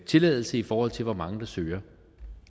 tilladelse i forhold til hvor mange der søger